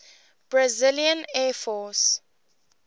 brazilian air force